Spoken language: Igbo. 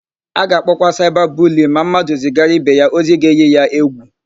A ga-akpọkwa ya saịba buliyin ma mmadụ zigara ibe ya ozi ga-èyí ya égwù.